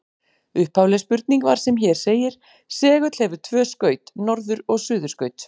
Upphafleg spurning var sem hér segir: Segull hefur tvö skaut, norður- og suðurskaut.